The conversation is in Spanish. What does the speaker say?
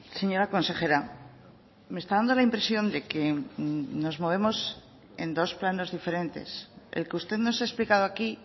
señora consejera me está dando la impresión de que nos movemos en dos planos diferentes el que usted nos ha explicado aquí